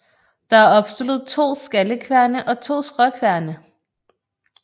Der er opstillet to skallekværne og to skråkværne